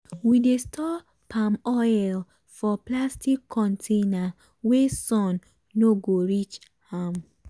we dey store palm oil for plastic container wey sun no go reach am.